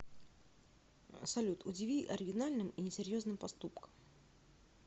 салют удиви оригинальным и несерьезным поступком